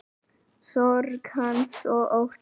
Sorg hans og ótti.